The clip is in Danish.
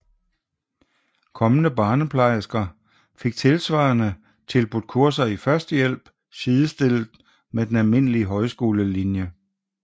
Kommende barneplejersker fik tilsvarende tilbudt kurser i førstehjælp sidestillet med den almindelige højskolelinje